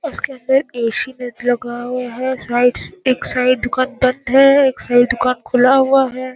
उसके अंदर ए.सी. लगा हुआ है । साइड एक साइड दुकान बंद है एक साइड दुकान खुला हुआ है।